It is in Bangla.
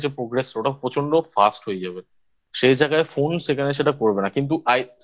Progress ওটা প্রচন্ড Fast হয়ে যাবে সেই জায়গায় Keyboard সেখানে সেটা করবে না কিন্তু